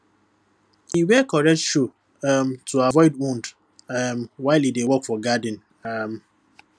e wear correct shoe um to avoid wound um while e dey work for garden um